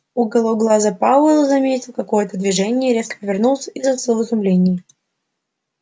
уголком глаза пауэлл заметил какое-то движение резко повернулся и застыл в изумлении